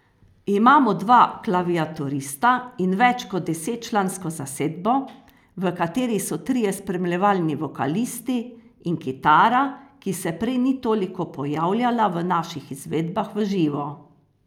Imamo dva klaviaturista in več kot desetčlansko zasedbo, v kateri so trije spremljevalni vokalisti in kitara, ki se prej ni toliko pojavljala v naših izvedbah v živo.